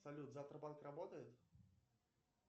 салют завтра банк работает